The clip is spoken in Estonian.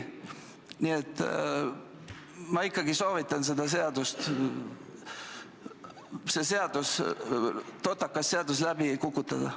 Nii et ma ikkagi soovitan see seadus – see totakas seadus – läbi kukutada.